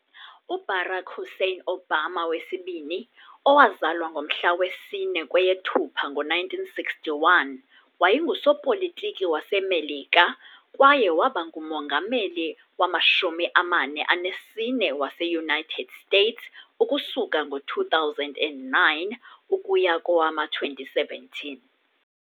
UBarack Hussein Obama II, owazalwa ngomhla 4 kweyeThupha ngo 1961, wayengusopolitiki waseMelika kwaye waba ngumongameli wama-44 wase-United States ukusuka ngo-2009 ukuya kowama-2017.